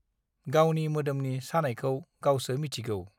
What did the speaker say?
गावनि मोदोमनि सानायखौ गावसो मिथिगौ